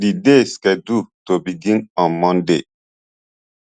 di dey scheduled to begin on monday